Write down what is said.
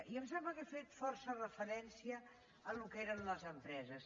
i em sembla que he fet força referència al que eren les empreses